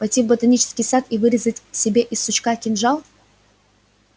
пойти в ботанический сад и вырезать себе из сучка кинжал